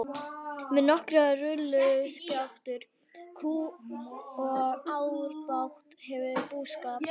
Með nokkrar rolluskjátur, kú og árabát hefurðu búskap.